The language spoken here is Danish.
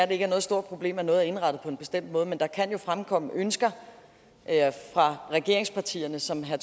det ikke er noget stort problem at noget er indrettet på en bestemt måde men der kan jo fremkomme ønsker fra regeringspartierne som herre